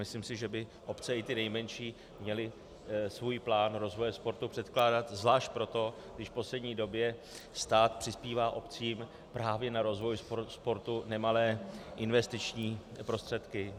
Myslím si, že by obce, i ty nejmenší, měly svůj plán rozvoje sportu předkládat zvlášť proto, když v poslední době stát přispívá obcím právě na rozvoj sportu nemalé investiční prostředky.